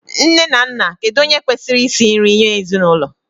Nne na Nna, kedu onye kwesịrị isi nri nye ezinụlọ?